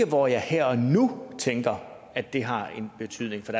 hvor jeg her og nu tænker at det har en betydning for